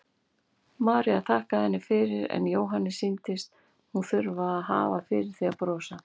María þakkaði henni fyrir en Jóhanni sýndist hún þurfa að hafa fyrir því að brosa.